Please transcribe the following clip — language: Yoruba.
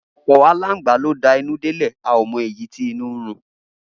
Gibo alangba lo da inu delẹ a omo eyi ti inu run.